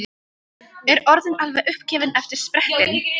Er orðin alveg uppgefin eftir sprettinn.